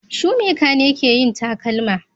Shoemaker ne ke yin takalma